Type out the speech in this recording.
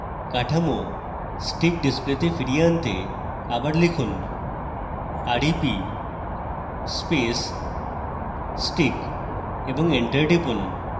কাঠামো stick ডিসপ্লেতে ফিরিয়ে আনতে আবার লিখুন rep space stick এবং এন্টার টিপুন